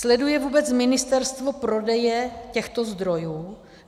Sleduje vůbec ministerstvo prodeje těchto zdrojů?